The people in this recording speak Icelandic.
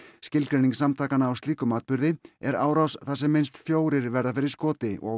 skilgreining samtakanna á slíkum atburði er árás þar sem minnst fjórir verða fyrir skoti og